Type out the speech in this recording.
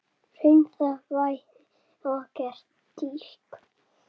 Hreinsa svæðið og gera stíg.